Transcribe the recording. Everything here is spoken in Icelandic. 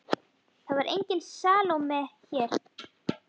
Það var engin Salóme hér.